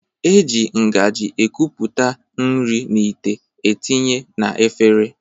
E ji ngaji ekupụta nri n'ite etinye na efere